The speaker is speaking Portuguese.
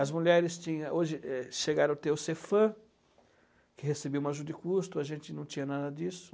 As mulheres tinham, hoje chegaram a ter o Cefam, que recebeu uma ajuda de custo, a gente não tinha nada disso.